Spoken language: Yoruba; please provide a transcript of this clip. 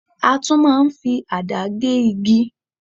A tún máa ń fi àdá gé igi.